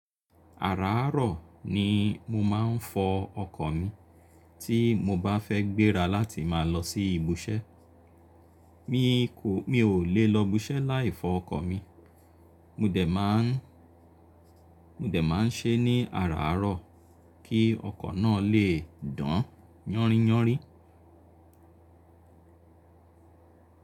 Àráárọ̀ ni mo máa ń fọ ọkọ̀ mi tí mo bá fẹ́ gbéra láti máa lọ sí ibùṣẹ́. Mi kò, mi ò lè lọ ibùṣẹ́ láì fọ ọkọ̀ mi. Mo dè máa ń, mo dè máa ń ṣe é ní àráárọ̀ kí ọkọ̀ náà lè dán yánríyánrí.